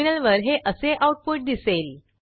टर्मिनलवर हे असे आऊटपुट दिसेल